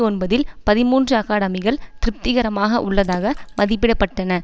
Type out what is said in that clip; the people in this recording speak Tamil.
ஒன்பதில் பதிமூன்று அகாடமிகள் திருப்திகரமாக உள்ளதாக மதிப்பிடப்பட்டன